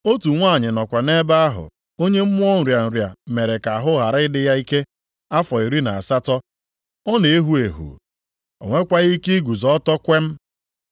Otu nwanyị nọkwa nʼebe ahụ, onye mmụọ nrịa nrịa mere ka ahụ ghara ị dị ya ike afọ iri na asatọ. Ọ na-ehu ehu, o nwekwaghị ike iguzo ọtọ kwem.